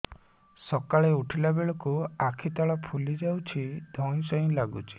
ସକାଳେ ଉଠିଲା ବେଳକୁ ଆଖି ତଳ ଫୁଲି ଯାଉଛି ଧଇଁ ସଇଁ ଲାଗୁଚି